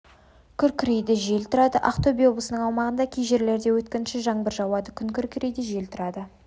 күркірейді жел тұрады ақтөбе облысының аумағында кей жерлерде өткінші жаңбыр жауады күн күркірейді жел тұрады